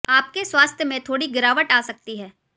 आपके स्वास्थ्य में थोड़ी गिरावट आ सकती है